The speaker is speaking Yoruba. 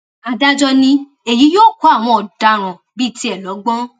adájọ ni èyí yóò kọ àwọn ọdaràn bíi tiẹ lọgbọn